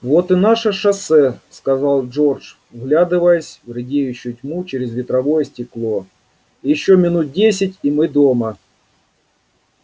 вот и наше шоссе сказал джордж вглядываясь в редеющую тьму через ветровое стекло ещё минут десять и мы дома